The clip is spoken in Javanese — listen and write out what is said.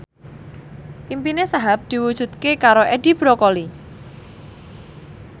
impine Wahhab diwujudke karo Edi Brokoli